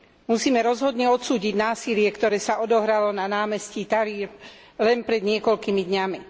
Musíme rozhodne odsúdiť násilie, ktoré sa odohralo na námestí Tahrir len pred niekoľkými dňami.